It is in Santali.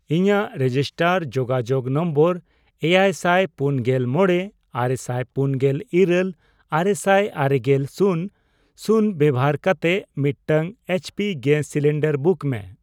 ᱤᱧᱟᱜ ᱨᱮᱡᱤᱥᱴᱟᱨ ᱡᱳᱜᱟᱡᱳᱜ ᱱᱚᱢᱵᱚᱨ ᱮᱭᱟᱭᱥᱟᱭ ᱯᱩᱱᱜᱮᱞ ᱢᱚᱲᱮ ,ᱟᱨᱮᱥᱟᱭ ᱯᱩᱱᱜᱮᱞ ᱤᱨᱟᱹᱞ ,ᱟᱨᱮᱥᱟᱭ ᱟᱨᱮᱜᱮᱞ ,ᱥᱩᱱ ᱥᱩᱱ ᱵᱮᱵᱚᱦᱟᱨ ᱠᱟᱛᱮ ᱢᱤᱫᱴᱟᱝ ᱮᱭᱤᱪᱯᱤ ᱜᱮᱥ ᱥᱤᱞᱤᱱᱰᱟᱨ ᱵᱩᱠ ᱢᱮ ᱾